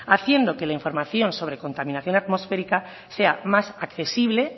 haciendo que la información sobre contaminación atmosférica sea más accesible